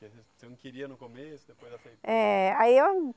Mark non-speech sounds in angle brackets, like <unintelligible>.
<unintelligible> Você não queria no começo? Depois aceitou . Eh, aí